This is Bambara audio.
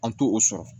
An t'o sɔrɔ